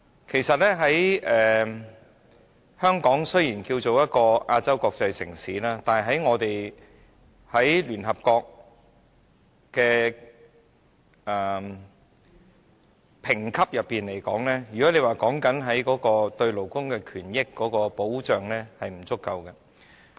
其實，香港雖然號稱亞洲國際城市，但在聯合國的評級上來說，如果就勞工權益保障而言，是不足夠的。